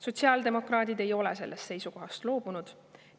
" Sotsiaaldemokraadid ei ole sellest seisukohast loobunud.